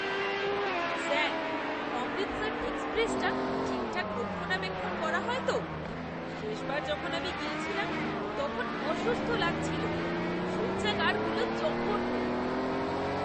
Sir, Amritsar এক্সপ্রেসটা ঠিকঠাক রক্ষণাবেক্ষণ করা হয় তো? শেষবার যখন আমি গিয়েছিলাম তখন অসুস্থ লাগছিলো। শৌচাগারগুলো জঘন্য।